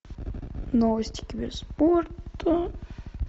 новости киберспорта